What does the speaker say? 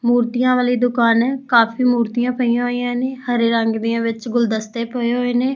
ਮੂਰਤੀਆਂ ਵਾਲੀ ਦੁਕਾਨ ਐ ਕਾਫੀ ਮੂਰਤੀਆਂ ਪਈਆਂ ਹੋਈਆਂ ਨੇ ਹਰੇ ਰੰਗ ਦੀਆਂ ਵਿੱਚ ਗੁਲਦਸਤੇ ਪਏ ਹੋਏ ਨੇ।